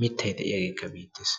mittayi de"iyageekka beettes.